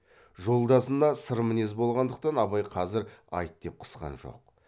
жолдасына сырмінез болғандықтан абай қазір айт деп қысқан жоқ